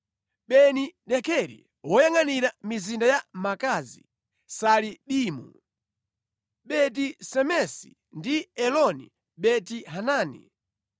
Beni-Dekeri, woyangʼanira mizinda ya Makazi, Saalibimu, Beti-Semesi ndi Eloni Beti-Hanani;